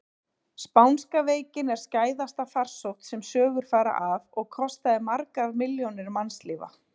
Spánska veikin er skæðasta farsótt sem sögur fara af og kostaði margar milljónir mannslífa.